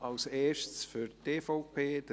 Zuerst Marc Jost für die EVP.